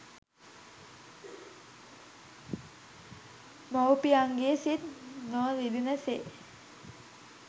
මවුපියන්ගේ සිත් නො රිදෙන සේ